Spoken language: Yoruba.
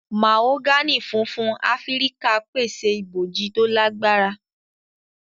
Mahogany fúnfún Áfíríkà pèsè ibojì to lagbara.